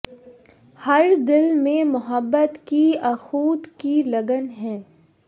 ہر دل میں محبت کی اخوت کی لگن ہے